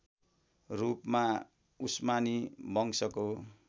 रूपमा उस्मानी वंशको